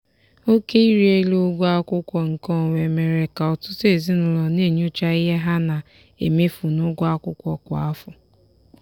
oke ịrị elu ụgwọ akwụkwọ nkeonwe mere ka ọtụtụ ezinụlọ na-enyocha the ha na-emefu n'ụgwọ akwụkwọ kwa afọ.